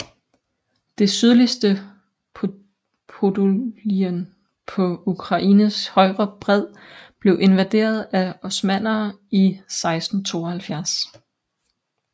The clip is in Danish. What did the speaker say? Det sydligste Podolien på Ukraines højre bred blev invaderet af osmannere i 1672